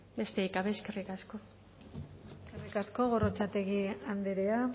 besterik gabe eskerrik asko eskerrik asko gorrotxategi andrea